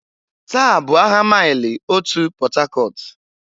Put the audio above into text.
Taa bụ ahịa Maịlị Otu Port Harcourt.